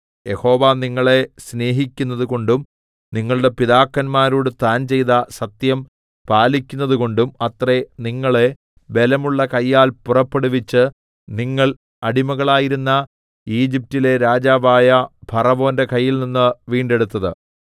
യഹോവ നിങ്ങളെ സ്നേഹിക്കുന്നതുകൊണ്ടും നിങ്ങളുടെ പിതാക്കന്മാരോട് താൻ ചെയ്ത സത്യം പാലിക്കുന്നതുകൊണ്ടും അത്രേ നിങ്ങളെ ബലമുള്ള കയ്യാൽ പുറപ്പെടുവിച്ച് നിങ്ങള്‍ അടിമകളായിരുന്ന ഈജിപ്റ്റിലെ രാജാവായ ഫറവോന്റെ കയ്യിൽനിന്ന് വീണ്ടെടുത്തത്